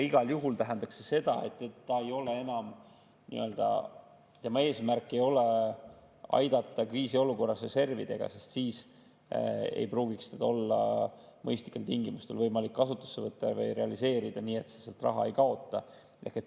Igal juhul tähendaks see seda, et tema eesmärk ei ole aidata kriisiolukorras reservidega, sest siis ei pruugiks teda olla mõistlikel tingimustel võimalik kasutusse võtta või realiseerida nii, et sealt raha ei kaota.